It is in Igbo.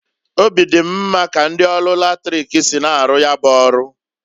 Obi di m mma ka ndi ọrụ latrik si na-aru ya bu ọrụ.